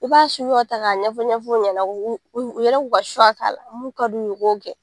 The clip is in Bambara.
I b'a suguya ta k'a ɲɛfɔ ɲɛfɔ u ɲɛna u yɛrɛ k'u ka k'a mun ka d'u ye u b'o kɛ